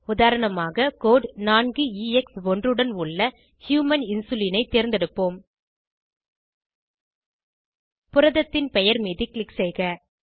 உதாரணமாக கோடு 4எக்ஸ்1 உடன் உள்ள ஹியூமன் இன்சுலின் ஐ தேர்ந்தெடுப்போம் புரதத்தின் பெயர் மீது க்ளிக் செய்க